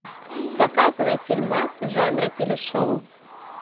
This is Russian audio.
показывай фильмас жанра телешоу